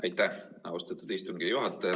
Aitäh, austatud istungi juhataja!